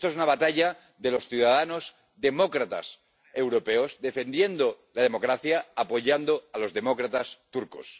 Esta es una batalla de los ciudadanos demócratas europeos defendiendo la democracia, apoyando a los demócratas turcos.